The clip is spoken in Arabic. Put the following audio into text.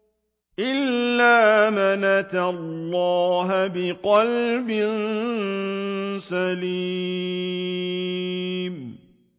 إِلَّا مَنْ أَتَى اللَّهَ بِقَلْبٍ سَلِيمٍ